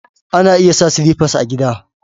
Ana iya sa sliffas a gida.